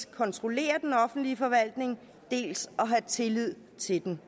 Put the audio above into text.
kontrollere den offentlige forvaltning dels at have tillid til den